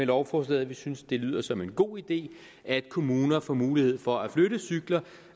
lovforslaget vi synes det lyder som en god idé at kommuner får mulighed for at flytte cykler